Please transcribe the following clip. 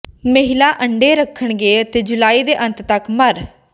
ਮਹਿਲਾ ਅੰਡੇ ਰੱਖਣਗੇ ਅਤੇ ਜੁਲਾਈ ਦੇ ਅੰਤ ਤੱਕ ਮਰ